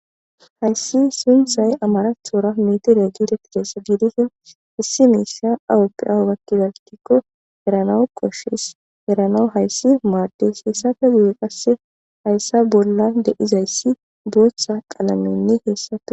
hayssi sunthay amarathoora miiti reeggidetigeessa giidisin issi miisha awropphi aawakkidarkikko eranawu koshes eranawu hayssi maades heyssafe gii qasse hayssa bolla deizayssi booththa qalaminni heessatu